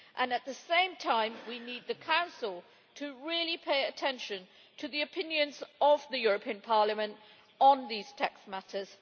At the same time, we need the Council to really pay attention to the opinions of the European Parliament on these tax matters.